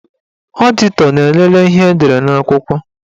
Ọditọ na-elele ihe edere n'akwụkwọ.